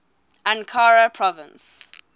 ankara province